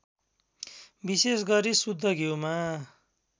विशेषगरी शुद्ध घिउमा